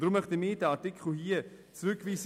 Deswegen möchten wir diesen Artikel zurückweisen.